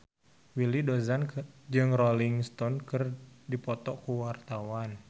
Willy Dozan jeung Rolling Stone keur dipoto ku wartawan